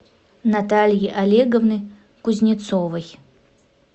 натальи олеговны кузнецовой